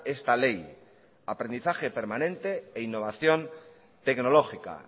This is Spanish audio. esta ley aprendizaje permanente e innovación tecnológica